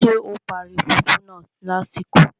Ṣé o parí fùfú náà lásìkò?